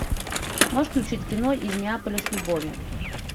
можешь включить кино из неаполя с любовью